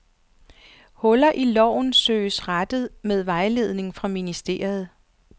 Huller i loven søges rettet med vejledning fra ministeriet.